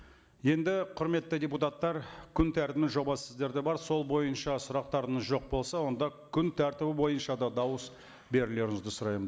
енді құрметті депутаттар күн тәртібінің жобасы сіздерде бар сол бойынша сұрақтарыңыз жоқ болса онда күн тәртібі бойынша да дауыс берулеріңізді сұраймын